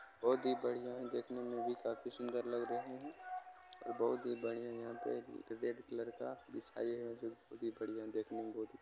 बहुत ही बढ़ियां है देखने में भी काफी सुन्दर लग रहे हैं और बहुत ही बढ़िया यहाँ पे रेड कलर का बिछाये हैं जो बहुत ही बढ़ियां देखने में बहुत ही --